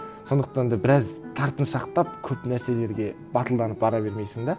сондықтан да біраз тартыншақтап көп нәрселерге батылданып бара бермейсің де